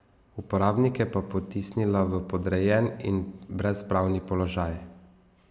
Uporabnike pa potisnila v podrejen in brezpravni položaj.